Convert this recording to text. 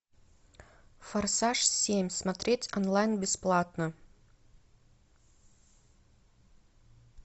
форсаж семь смотреть онлайн бесплатно